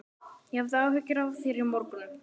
Ég hafði áhyggjur af þér í morgun.